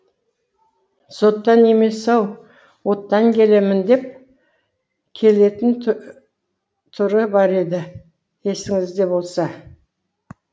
соттан емес ау оттан келемін деп келетін түрі бар еді есіңізде болса